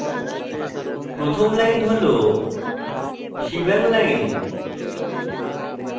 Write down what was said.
প্রথম line হল shebang line